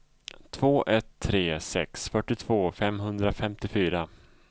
två ett tre sex fyrtiotvå femhundrafemtiofyra